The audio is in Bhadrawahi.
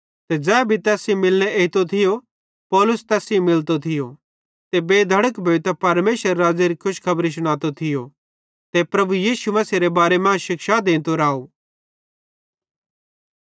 ते ज़ै भी तैस सेइं मिलने एइतो थियो पौलुस तैस सेइं मिलतो थियो ते बेधड़क भोइतां परमेशरेरे राज़्ज़ेरी खुशखबरी शुनातो थियो ते प्रभु यीशु मसीहेरे बारे मां शिक्षा देंतो राव